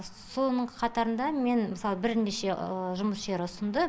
соның қатарында мен мысалы бірнеше жұмыс жері ұсынды